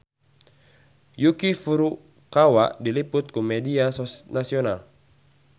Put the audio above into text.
Yuki Furukawa diliput ku media nasional